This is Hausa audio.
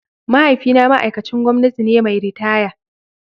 Mahaifina ma'aikacin gwamnati ne mai ritaya.